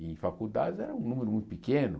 Em faculdades era um número muito pequeno.